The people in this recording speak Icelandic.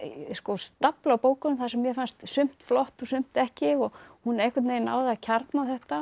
stafla af bókum þar sem mér fannst sumt flott og sumt ekki hún einhvern veginn náði að kjarna þetta